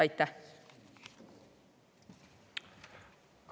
Aitäh!